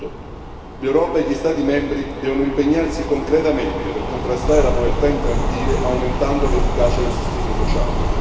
2008. L'Europa e gli Stati membri devono impegnarsi concretamente per contrastare la povertà infantile, aumentando l'efficacia del sostegno sociale.